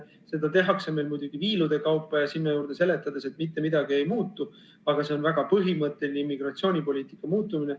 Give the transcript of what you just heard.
Seda tehakse meil muidugi viilude kaupa ja sinna juurde seletades, et mitte midagi ei muutu, aga see on väga põhimõtteline immigratsioonipoliitika muutmine.